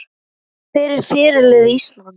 Hver er fyrirliði Íslands?